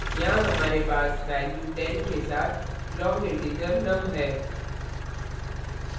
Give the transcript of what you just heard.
यहाँ हमारे पास value 10 के साथ long integer num है